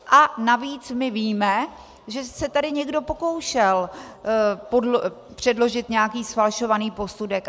A navíc my víme, že se tady někdo pokoušel předložit nějaký zfalšovaný posudek.